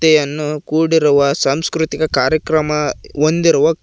ಗೆ ಅನ್ನು ಕೂಡಿರುವ ಸಾಂಸ್ಕೃತಿಕ ಕಾರ್ಯಕ್ರಮ ಹೊಂದಿರುವ--